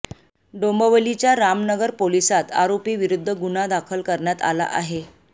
डोंबिवलीच्या रामनगर पोलिसांत आरोपीविरुद्ध गुन्हा दाखल करण्यात आला आहे